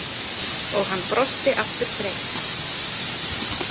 Og hann brosti aftur breitt.